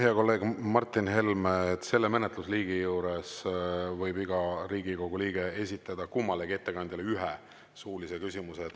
Hea kolleeg Martin Helme, selle menetlusliigi puhul võib iga Riigikogu liige esitada kummalegi ettekandjale ühe suulise küsimuse.